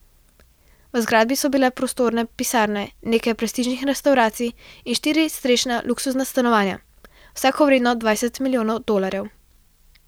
V zgradbi so bile prostorne pisarne, nekaj prestižnih restavracij in štiri strešna luksuzna stanovanja, vsako vredno dvajset milijonov dolarjev.